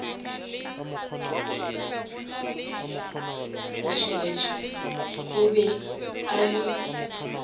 motšheletšhele o be a le